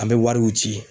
An bɛ wariw ci